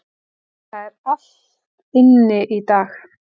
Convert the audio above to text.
Það er allt inni í dag.